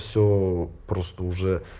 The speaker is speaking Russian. все просто уже